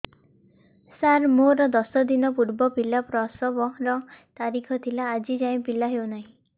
ସାର ମୋର ଦଶ ଦିନ ପୂର୍ବ ପିଲା ପ୍ରସଵ ର ତାରିଖ ଥିଲା ଆଜି ଯାଇଁ ପିଲା ହଉ ନାହିଁ